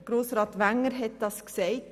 Grossrat Wenger hat es gesagt: